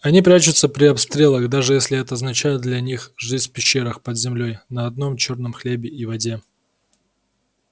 они прячутся при обстрелах даже если это означает для них жизнь в пещерах под землёй на одном чёрном хлебе и воде